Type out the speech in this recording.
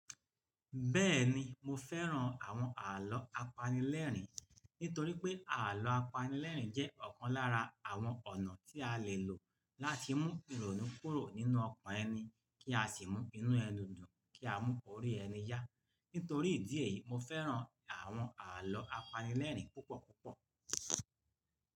Bẹ́ẹ̀ni, mo fẹ́ran àwọn àlọ́ apanilẹ́rìn nítorípé àlọ́ apanilẹ́rìn jẹ́ ọ̀kan lára àwọn ọ̀nà tí a lè lò láti mú ìrònú kúrò nínú ọkàn ẹni kí a sì mú inú ẹni dùn kí a mú orí ẹni yá. Nítorí ìdí èyí, mo fẹ́ran àwọn àlọ́ apanilẹ́rìn púpọ̀ púpọ̀.